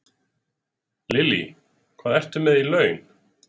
Lillý: Hvað ertu með í laun?